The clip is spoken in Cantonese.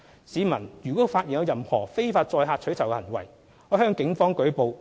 市民如發現任何非法載客取酬行為，可向警方舉報。